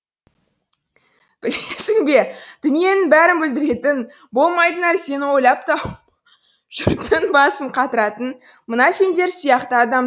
білесің бе дүниенің бәрін бүлдіретін болмайтын нәрсені ойлап тауып жұрттың басын қатыратын мына сендер сияқты адамдар